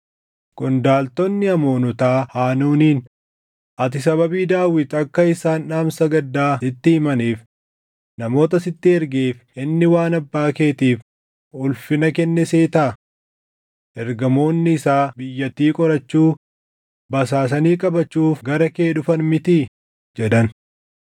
qondaaltonni Amoonotaa Haanuuniin, “Ati sababii Daawit akka isaan dhaamsa gaddaa sitti himaniif namoota sitti ergeef inni waan abbaa keetiif ulfina kenne seetaa? Ergamoonni isaa biyyattii qorachuu, basaasanii qabachuuf gara kee dhufan mitii?” jedhan.